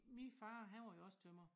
Min far han var jo også tømrer